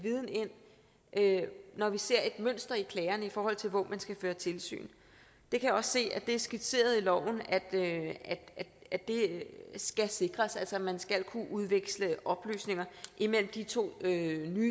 ind når vi ser et mønster i klagerne i forhold til hvor man skal føre tilsyn jeg kan også se at det er skitseret i loven at det skal sikres at man altså skal kunne udveksle oplysninger imellem de to nye